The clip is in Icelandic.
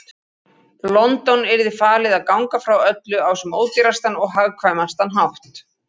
London yrði falið að ganga frá öllu á sem ódýrastan og hagkvæmastan hátt.